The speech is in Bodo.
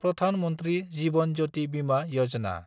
प्रधान मन्थ्रि जीवन ज्यति बिमा यजना